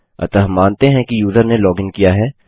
अतः मानते हैं कि यूज़र ने लॉगिन किया है